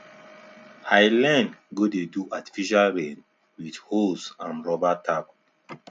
i learn go dey do artificial rain with hose and rubber tap